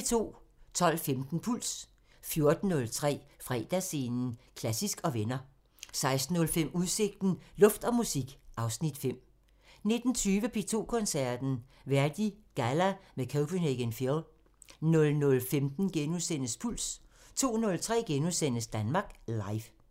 12:15: Puls 14:03: Fredagsscenen – Klassisk & venner 16:05: Udsigten – Luft og musik (Afs. 5) 19:20: P2 Koncerten – Verdi Galla med Copenhagen Phil 00:15: Puls * 02:03: Danmark Live *